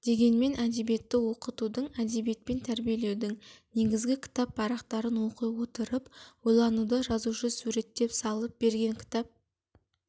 дегенмен әдебиетті оқытудың әдебиетпен тәрбиелеудің негізі кітап парақтарын оқи отырып ойлануда жазушы суреттеп салып берген кітап